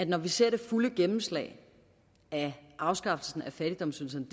når vi ser det fulde gennemslag af afskaffelsen af fattigdomsydelserne